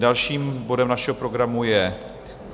Dalším bodem našeho programu je